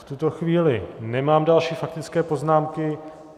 V tuto chvíli nemám další faktické poznámky.